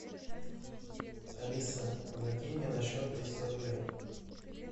алиса закинь мне на счет триста рублей